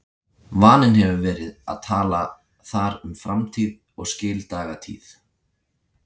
Vaninn hefur verið að tala þar um framtíð og skildagatíð.